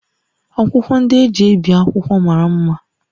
Akwụkwọ ndị e ji ebi akwụkwọ mara mma